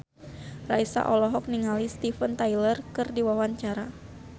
Raisa olohok ningali Steven Tyler keur diwawancara